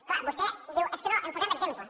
clar vostè diu que no en posem exemple